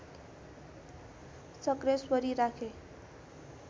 शक्रेश्वरी राखे